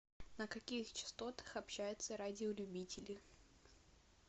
на каких частотах общаются радиолюбители